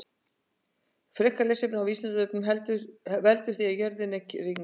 Frekara lesefni á Vísindavefnum: Hvað veldur því að jörðin er kringlótt?